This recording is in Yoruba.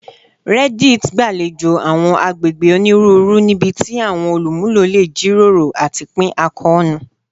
Reddit gbalejo awọn agbegbe oniruuru nibiti awọn olumulo le jiroro ati pin akoonu